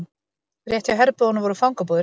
Rétt hjá herbúðunum voru fangabúðir.